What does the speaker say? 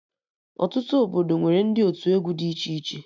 Ọtụtụ obodo nwere ndị otu egwu dị iche